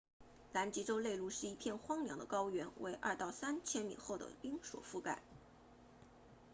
南极洲内陆是一片荒凉的高原为 2-3 千米厚的冰所覆盖